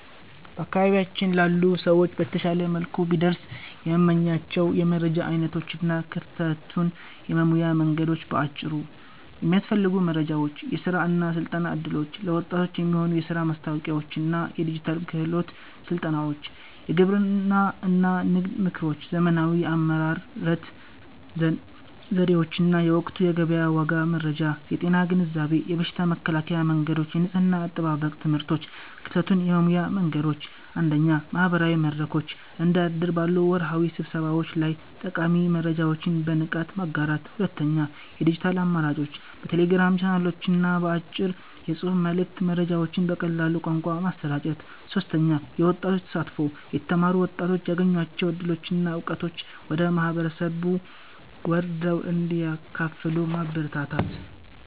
በአካባቢያችን ላሉ ሰዎች በተሻለ መልኩ ቢደርሱ የምመኛቸው የመረጃ ዓይነቶች እና ክፍተቱን የመሙያ መንገዶች በአጭሩ፦ የሚያስፈልጉ መረጃዎች፦ የሥራ እና ሥልጠና ዕድሎች፦ ለወጣቶች የሚሆኑ የሥራ ማስታወቂያዎችና የዲጂታል ክህሎት ሥልጠናዎች። የግብርና እና ንግድ ምክሮች፦ ዘመናዊ የአመራረት ዘዴዎችና የወቅቱ የገበያ ዋጋ መረጃ። የጤና ግንዛቤ፦ የበሽታ መከላከያ መንገዶችና የንጽሕና አጠባበቅ ትምህርቶች። ክፍተቱን የመሙያ መንገዶች፦ 1. ማህበራዊ መድረኮች፦ እንደ እድር ባሉ ወርሃዊ ስብሰባዎች ላይ ጠቃሚ መረጃዎችን በንቃት ማጋራት። 2. የዲጂታል አማራጮች፦ በቴሌግራም ቻናሎችና በአጭር የጽሑፍ መልዕክት መረጃዎችን በቀላል ቋንቋ ማሰራጨት። 3. የወጣቶች ተሳትፎ፦ የተማሩ ወጣቶች ያገኟቸውን ዕድሎችና ዕውቀቶች ወደ ማህበረሰቡ ወርደው እንዲያካፍሉ ማበረታታት።